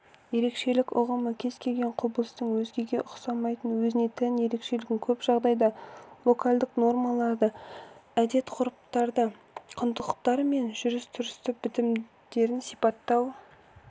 ерекшелік ұғымы кез келген құбылыстың өзгеге ұқсамайтын өзіне тән өзгешелігін көп жағдайда локальдық нормаларды әдет-ғұрыптарды құндылықтар мен жүріс-тұрыс бітімдерін сипаттау